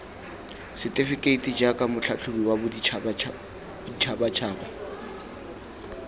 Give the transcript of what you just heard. setefekeiti jaaka motlhatlhobi wa boditšhabatšhaba